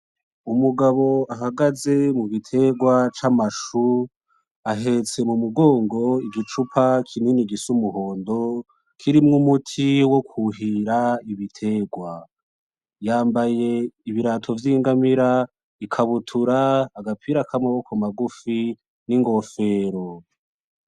Umugabo ahagaze mu biterwa camashu, ahetse mumugongo igicupa kinini gisa umuhondo kirimwo umuti wo kuhira ibiterwa. Yambaye ibirato vyingamira, ikabutura, agapira k'amaboko magufi, ningofero.